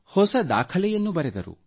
ಹೊಸ ದಾಖಲೆಯನ್ನು ಬರೆದರು